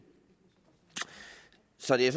så det